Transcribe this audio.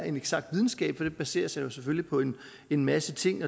en eksakt videnskab for den baserer sig selvfølgelig på en en masse ting